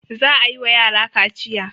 Za a yi wa yara kaciya.